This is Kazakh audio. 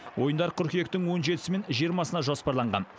ойындар қыркүйектің он жетісі мен жиырмасына жоспарланған